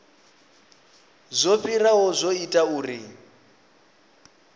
zwo fhiraho zwo ita uri